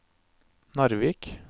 Narvik